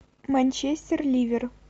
манчестер ливер